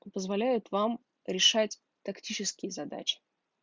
позволяет вам решать тактические задачи